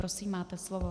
Prosím, máte slovo.